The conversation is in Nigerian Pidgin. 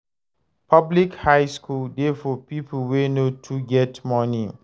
Public high school de for pipo wey no too get money